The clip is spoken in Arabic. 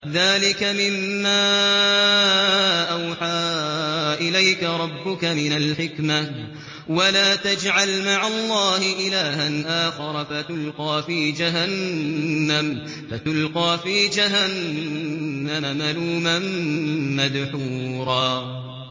ذَٰلِكَ مِمَّا أَوْحَىٰ إِلَيْكَ رَبُّكَ مِنَ الْحِكْمَةِ ۗ وَلَا تَجْعَلْ مَعَ اللَّهِ إِلَٰهًا آخَرَ فَتُلْقَىٰ فِي جَهَنَّمَ مَلُومًا مَّدْحُورًا